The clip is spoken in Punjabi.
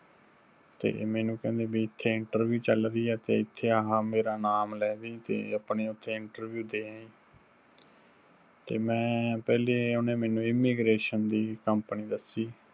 ਤੇ ਮੈਨੂੰ ਕਹਿੰਦੇ ਬੀ ਇੱਥੇ interview ਚੱਲ ਰਹੀ ਹੈ ਤੇ ਇੱਥੇ ਆਹਾ ਮੇਰਾ ਨਾਮ ਲੈ ਦਈਂ ਤੇ ਆਪਣੀ ਉੱਥੇ interview ਦੇ ਆਈਂ। ਤੇ ਮੈਂ ਪਹਿਲੇ ਉਹਨੇ ਮੈਨੂੰ immigration ਦੀ company ਦੱਸੀ